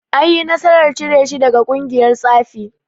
Anyi nasarar cire shi daga ƙungiyar tsafin.